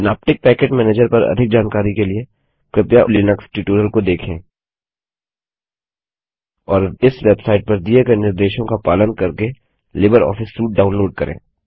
synaptic package manager पर अधिक जानकारी के लिए कृपया लिनक्स ट्यूटोरियल को देखें और इस वेबसाइट पर दिए गए निर्देशों का पालन करके लिबर ऑफिस सूट डाउनलोड करें